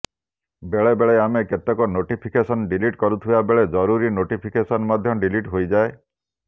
ବେଳେ ବେଳେ ଆମେ କେତେକ ନୋଟିଫିକେସନ ଡିଲିଟ୍ କରୁଥିବା ବେଳେ ଜରୁରୀ ନୋଟିଫିକେସନ ମଧ୍ୟ ଡିଲିଟ୍ ହୋଇଯାଏ